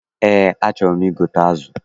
Eé, achọrọ m igote azụ.